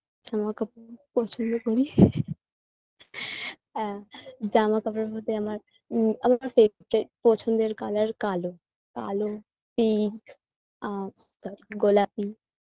জামাকাপড় পছন্দ করি আ জামাকাপড়ের মধ্যে আমার উম আমার পছন্দের colour কালো কালো pink আর আ গোলাপি